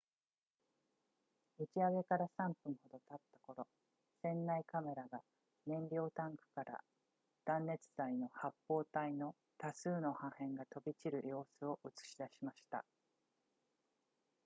打ち上げから3分ほど経った頃船内カメラが燃料タンクから断熱材の発泡体の多数の破片が飛び散る様子を映し出しました